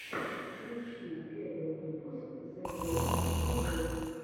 включи первый выпуск зэгэймэбэй